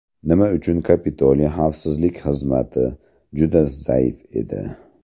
Nima uchun Kapitoliy xavfsizlik xizmati juda zaif edi?